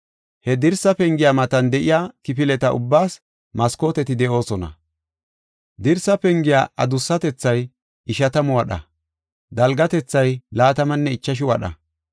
He dirsa pengiya matan de7iya kifileta ubbaas maskooteti de7oosona. Dirsaa pengiya adussatethay ishatamu wadha; dalgatethay laatamanne ichashu wadha.